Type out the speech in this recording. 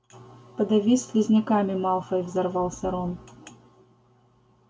подавись слизняками малфой взорвался рон